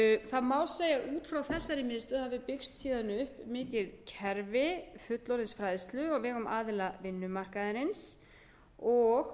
það má segja að út frá þessari miðstöð hafi byggst síðan upp mikið kerfi fullorðinsfræðslu á vegum aðila vinnumarkaðarins og